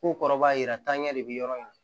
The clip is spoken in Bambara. K'u kɔrɔbayara taaɲɛ de bɛ yɔrɔ min na